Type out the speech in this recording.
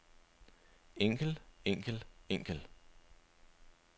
enkel enkel enkel